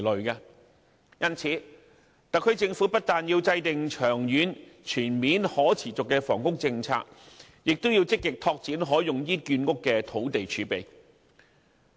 因此，特區政府不但要制訂長遠、全面、可持續的房屋政策，也要積極拓展可用於建屋的土地儲備。